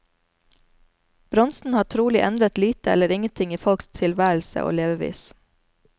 Bronsen har trolig endret lite eller ingen ting i folks tilværelse og levevis.